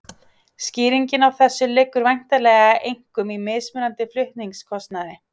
Skýringin á þessu liggur væntanlega einkum í mismunandi flutningskostnaði.